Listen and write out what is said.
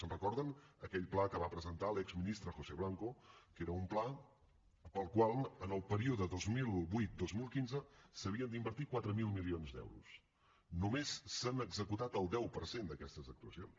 se’n recorden d’aquell pla que va presentar l’exministre josé blanco que era un pla per al qual en el període dos mil vuit dos mil quinze s’havien d’invertir quatre mil milions d’euros només s’han executat el deu per cent d’aquestes actuacions